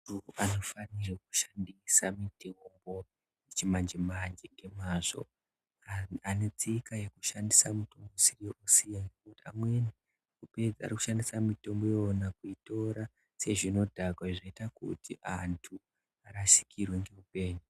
Anhu anofanirwe kushandisa mitombo yechimanje-manje ngemazvo. Anhu anetsika yekushandisa mitombo usiyo zvisizvo. Amweni arikushandisa mitombo iyona kuitora sezvinodhaka zvoita akuti antu arasikirwe ngeupenyu.